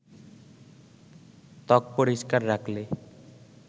ত্বক পরিষ্কার রাখলে